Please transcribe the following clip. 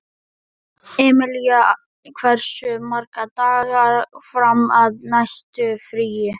Emilía, hversu margir dagar fram að næsta fríi?